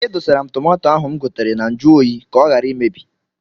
E dosara m tomato ahụ m gotere na nju oyi ka ọ ghara imebi.